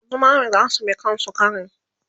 Sha zumami zasu bi kan sukarin